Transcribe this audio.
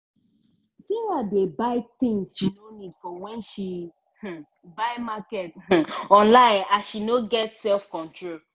sarah dey buy tins she no need for when she um buy market um online as she no get self control.